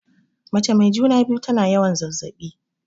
Mace mai juna-biyu tana yawan zazzaɓi.